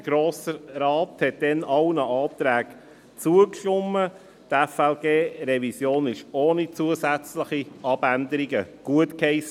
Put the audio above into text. Der Grosse Rat stimmte damals allen Anträgen zu, die FLG-Revision wurde ohne zusätzliche Abänderungen gutgeheissen.